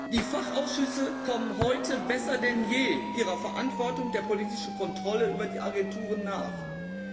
Die Fachausschüsse kommen heute besser denn je ihrer Verantwortung nach, die politische Kontrolle über die Agenturen auszuüben.